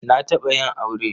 Na taɓa yin aure.